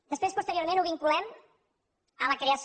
després posteriorment ho vinculem a la creació